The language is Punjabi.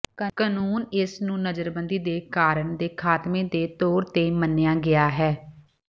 ਕਾਨੂੰਨ ਇਸ ਨੂੰ ਨਜ਼ਰਬੰਦੀ ਦੇ ਕਾਰਣ ਦੇ ਖਾਤਮੇ ਦੇ ਤੌਰ ਤੇ ਮੰਨਿਆ ਗਿਆ ਹੈ